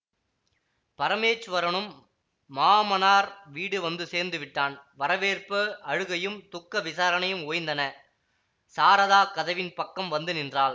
பரமேச்வரனும் மாமனார் வீடு வந்துசேர்ந்துவிட்டான் வரவேற்பு அழுகையும் துக்க விசாரணையும் ஓய்ந்தன சாரதா கதவின் பக்கம் வந்து நின்றாள்